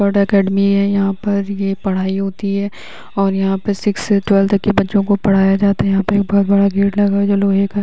academy हैं यहाँ पर ये पढ़ाई होती है और यहाँ पे सिक्स से ट्वेल्व तक के बच्चों को पढ़ाया जाता हैं यहाँ पे ऊपर बड़ा गेट लगा है जो लोहे का --